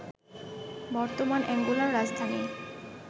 বর্তমান অ্যাঙ্গোলার রাজধানী